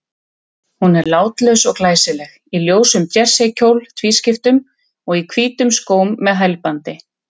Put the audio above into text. Hún er látlaus og glæsileg, í ljósum jerseykjól tvískiptum, og í hvítum skóm með hælbandi.